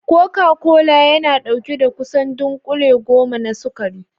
Koka kola yana ɗauke da kusan dunkule goma na sukari